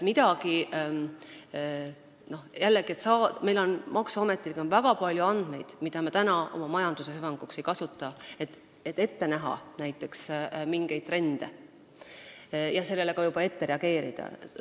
Maksuametil on väga palju andmeid, mida me oma majanduse hüvanguks ei kasuta, kuigi saaksime nende abil ette näha näiteks mingeid trende ja neile juba ette reageerida.